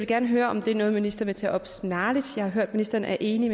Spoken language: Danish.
gerne høre om det er noget ministeren vil tage op snarligt jeg har hørt at ministeren er enig